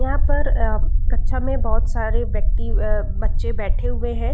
यहाँ पर आ कक्षा में बहुत सारे व्यक्ति अ बच्चे बैठे हुए है।